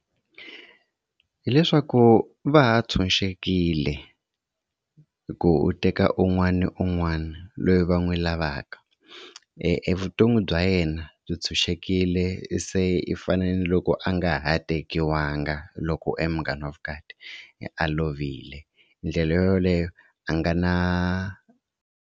Hi leswaku va ha tshunxekile ku u teka un'wana na un'wana loyi va n'wi lavaka evuton'wi bya yena byi tshunxekile se i fane naloko a nga ha tekiwanga loko e munghana wa vukati a a lovile ndlela yoyoleyo a nga na.